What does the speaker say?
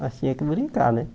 Nós tinha que brincar, né?